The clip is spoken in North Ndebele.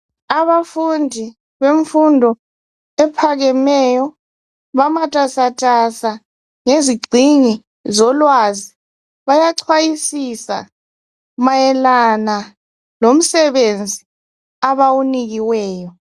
Abafundi bemfundo ephakemeyo bamatasatasa ngezigxingi zolwazi bayaxhwayisisa mayelana lomsebenzi abawunikiweyo.